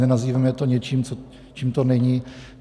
Nenazývejme to něčím, čím to není.